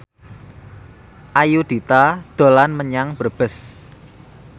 Ayudhita dolan menyang Brebes